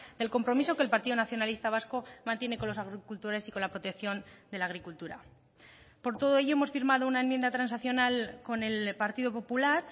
el compromiso que el partido nacionalista vasco mantiene con los agricultores y con la protección de la agricultura por todo ello hemos firmado una enmienda transaccional con el partido popular